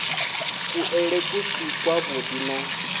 kuḽele ku si kwavhuḓi na